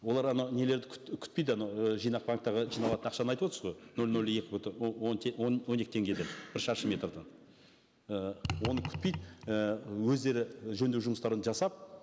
олар анау нелерді күтпейді анау і жинақ банктерге жиналатын ақшаны айтып отырсыз ғой нөл нөл екі бүтін он екі теңгеден бір шаршы метрден і оны күтпейді і өздері жөндеу жұмыстарын жасап